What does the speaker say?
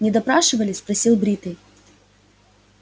не допрашивали спросил бритый